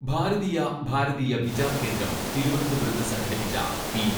ഭാരതീയ ഭാരതീയ വിചാർ കേന്ദ്രം തിരുവനന്തപുരത്ത് സംഘടിപ്പിച്ച പി.